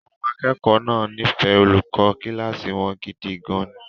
Àwọn akẹ́kọ̀ọ́ náà nífẹ̀ẹ́ olùkọ́ kíláàsì wọn gidi gan-an.